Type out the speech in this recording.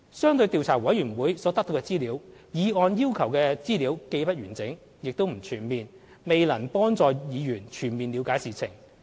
相對調查委員會所得到的資料，議案要求的資料既不完整、也不全面，未必能幫助議員全面了解事情。